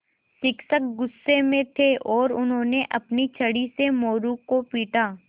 शिक्षक गुस्से में थे और उन्होंने अपनी छड़ी से मोरू को पीटा